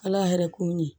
Ala yɛrɛ kun ye